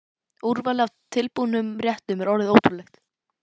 Úrvalið af tilbúnum réttum er orðið ótrúlegt.